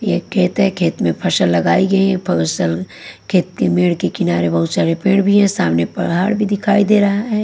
एक खेत है। खेत में फसल लगाई गई है। फसल खेत के मेड के किनारे बहुत सारे पेड़ भी है। सामने पहाड़ भी दिखाई दे रहा है।